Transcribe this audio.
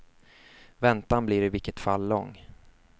Väntan blir i vilket fall lång.